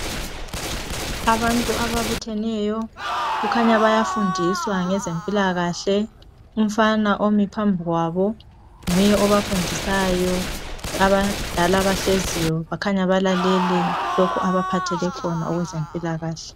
Abantu ababutheneyo kukhanya bayafundiswa ngezempilakahle umfana omi phambi kwabo nguye obafundisayo abadala bahleziyo bakhanya balalele lokhu abaphathele khona okwezempilakahle .